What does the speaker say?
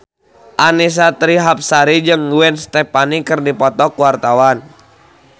Annisa Trihapsari jeung Gwen Stefani keur dipoto ku wartawan